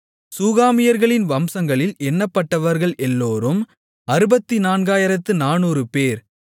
சூகாமியர்களின் வம்சங்களில் எண்ணப்பட்டவர்கள் எல்லோரும் 64400 பேர்